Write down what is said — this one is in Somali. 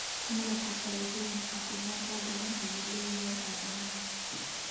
Malabku faa�iidooyin caafimaad oo badan ayuu u leeyahay aadamaha.